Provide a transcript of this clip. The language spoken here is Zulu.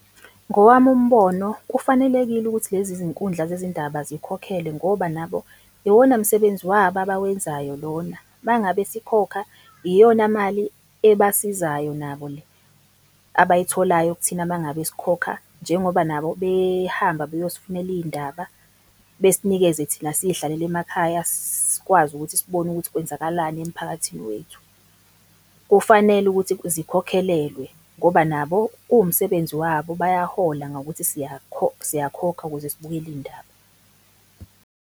Ngowami umbono kufanelekile ukuthi lezi zinkundla zezindaba zikhokhelwe, ngoba nabo iwona msebenzi wabo abawenzayo lona. Uma ngabe sikhokha iyona mali ebasizayo nabo le, abayitholayo kuthina mangabe sikhokha, njengoba nabo behamba beyosifunela iy'ndaba, besnikeze thina siy'hlalele emakhaya sikwazi ukuthi sibone ukuthi kwenzakalani emiphakathini wethu. Kufanele ukuthi zikhokhelelwe, ngoba nabo kuwumsebenzi wabo bayahola ngokuthi siyakhokha ukuze sibukele iy'ndaba.